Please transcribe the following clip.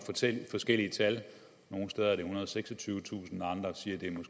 forskellige tal nogle steder er det ethundrede og seksogtyvetusind og andre siger at